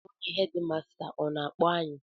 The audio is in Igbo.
Onye hedịmasta ọ na-akpọ anyị?